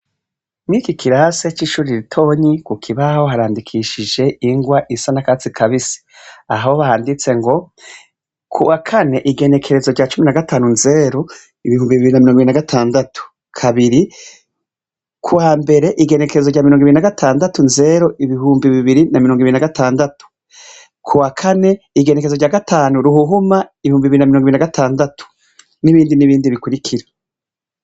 Mw'iki kirasi c'ishure ritonyi ku kibaho harandikishije ingwa isa n'akatsi kabisi, aho handitse ngo ku wa kane igenekerezo rya cumi na gatanu nzero ibihumbi bibiri na mirongo ibiri na gatandatu, kabiri ku wambere kw'igenekerezo rya mirongo ibiri na gatandatu nzero ibihumbi bibiri na mirongo ibiri na gatandatu, ku wa kane igenekerezo rya gatanu ruhuhuma ibihumbi bibiri na mirongo ibiri na gatandatu, n'ibindi n'ibindi bikurikira.